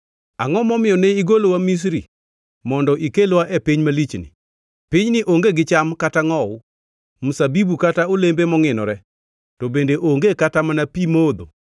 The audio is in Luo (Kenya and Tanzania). Angʼo momiyo ne igolowa Misri mondo ikelwa e piny malichni? Pinyni onge gi cham kata ngʼowu, mzabibu kata olembe mongʼinore to bende onge kata mana pi modho!”